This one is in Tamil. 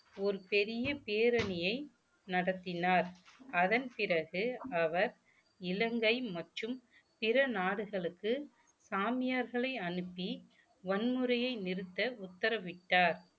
ஒரு பெரிய பேரணியை நடத்தினார் அதன் பிறகு அவர் இலங்கை மற்றும் பிற நாடுகளுக்கு சாமியார்களை அனுப்பி வன்முறையை நிறுத்த உத்தரவிட்டார்